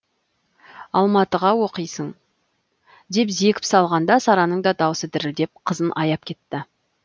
алматыға оқисың деп зекіп салғанда сараның да даусы дірілдеп қызын аяп кетті